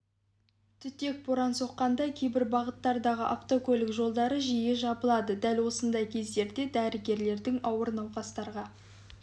түтек боран соққанда кейбір бағыттардағы автокөлік жолдары жиі жабылады дәл осындай кездерде дәрігерлердің ауыр науқастарға